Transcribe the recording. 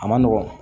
A ma nɔgɔ